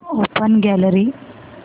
open gallery